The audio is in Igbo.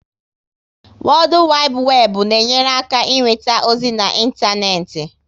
Wodu Wibu Webu na enyere aka inweta ozi na ịntanetị